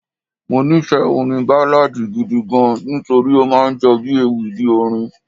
Mo nífẹ̀ẹ́ orin Báláadì gidi gan-an nítorí ó máa ń jọ bí ewì bí orin.